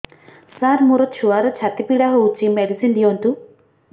ସାର ମୋର ଛୁଆର ଛାତି ପୀଡା ହଉଚି ମେଡିସିନ ଦିଅନ୍ତୁ